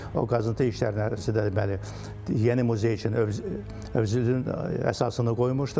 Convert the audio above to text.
O qazıntı işlərinin əsasında deməli yeni muzey üçün özünün əsasını qoymuşduq.